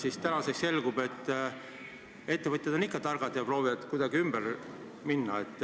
Aga tänaseks on selgunud, et ettevõtjad on targad ja proovivad kuidagi ümber nurga minna.